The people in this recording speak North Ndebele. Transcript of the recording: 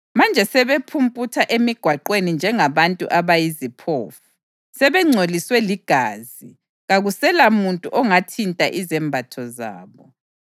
Manje sebephumputha emigwaqweni njengabantu abayiziphofu. Sebengcoliswe ligazi kakuselamuntu ongathinta izembatho zabo.